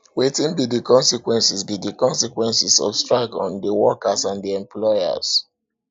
wetin be di consequences be di consequences of strike on di workers and di employers